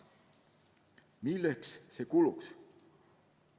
Milleks see raha kuluks?